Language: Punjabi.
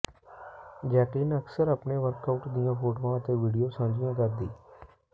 ਜੈਕਲੀਨ ਅਕਸਰ ਆਪਣੇ ਵਰਕਆਉਟ ਦੀਆਂ ਫੋਟੋਆਂ ਅਤੇ ਵੀਡੀਓ ਸਾਂਝੀਆਂ ਕਰਦੀ